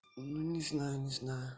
не знаю не знаю